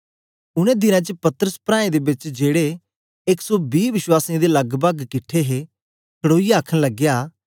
उनै दिनें च पतरस प्राऐं दे बेच जेड़े एक सौ बी वश्वासीयें दे लगपग किट्ठे हे खडोईयै आखन लगया